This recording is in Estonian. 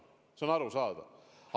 See on arusaadav!